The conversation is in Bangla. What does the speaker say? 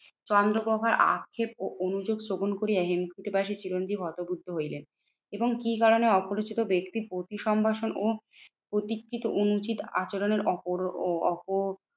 চন্দ্রপ্রভার আক্ষেপ ও অনুযোগ শ্রবণ করিয়া হিমকুটে বাসি চিরঞ্জীব হতবুদ্ধ হইলেন এবং কি কারণে অপরিচিত ব্যক্তি পতি সম্ভাষণ ও প্রতিকৃত অনুচিত আচরণের